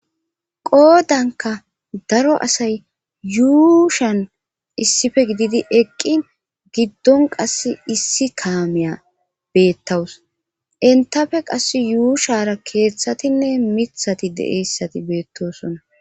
Qoodanka daro asay yuushan issife gididi eqqi giddon qas issi kaameya beettawus intafe qass yuushara keeththatinne mithati deeyssati beettosona.